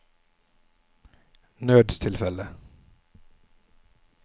nødstilfelle